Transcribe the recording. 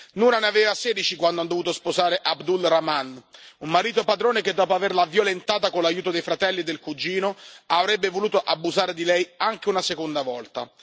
Noura ne aveva 16 quando ha dovuto sposare Abdulrahman, un marito padrone che, dopo averla violentata con l'aiuto dei fratelli e del cugino, avrebbe voluto abusare di lei anche una seconda volta.